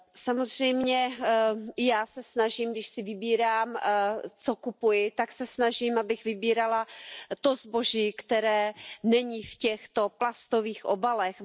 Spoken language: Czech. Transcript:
Samozřejmě i já se snažím, když si vybírám, co kupuji, tak se snažím, abych vybírala to zboží, které není v těchto plastových obalech.